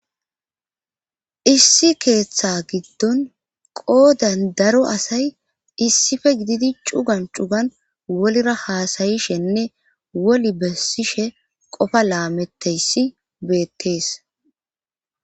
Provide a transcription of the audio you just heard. issi keeththa giddon qoodan daro asay issife gididi cugan cuban wolira haasayishenne wol bessishe qofa laametteyssi beettees